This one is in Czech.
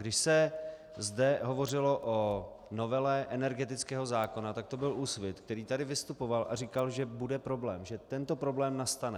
Když se zde hovořilo o novele energetického zákona, tak to byl Úsvit, který tady vystupoval a říkal, že bude problém, že tento problém nastane.